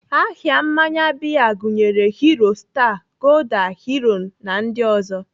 Aha mmanya bịa gụnyere Hero, star, gulder, Heroin na ndị ọzọ.